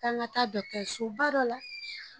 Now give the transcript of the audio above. K'an ka taa dɔgɔtɔsoba dɔ la.